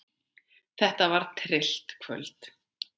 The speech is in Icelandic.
Þetta var tryllt kvöld.